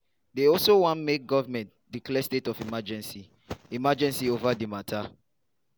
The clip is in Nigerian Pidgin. dey also wan make goment declare state of emergency emergency ova di mata.